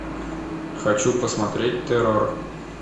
хочу посмотреть террор